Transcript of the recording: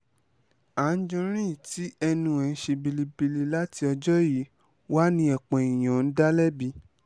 anjorin tí ẹnu ẹ̀ ti ń ṣe bẹ́lẹ́bẹ́lẹ̀ láti ọjọ́ yìí wá ni ọ̀pọ̀ èèyàn ń dá lẹ́bi